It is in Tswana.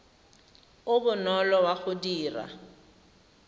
o bonolo wa go dira